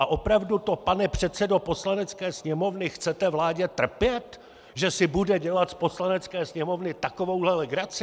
A opravdu to, pane předsedo Poslanecké sněmovny, chcete vládě trpět, že si bude dělat z Poslanecké sněmovny takovouhle legraci?